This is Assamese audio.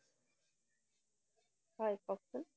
হয়, কওঁকচোন।